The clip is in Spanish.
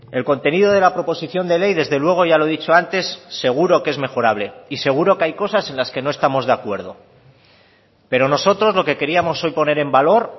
el contenido de la proposición de ley desde luego ya lo he dicho antes seguro que es mejorable y seguro que hay cosas en las que no estamos de acuerdo pero nosotros lo que queríamos hoy poner en valor